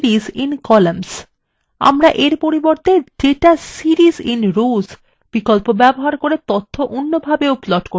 আমরা we পরিবর্তে data series in rows ব্যবহার করে তথ্য অন্যভাবে plot করতে পারি